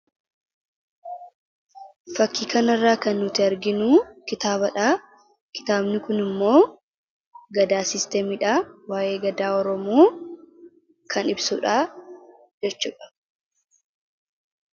Fakkii kanarraa kan nuti arginu kitaabadha. Kitaabni kunimmoo 'Gadaa System 'dha waa'ee gadaa Oromoo kan ibsudha jechuudha.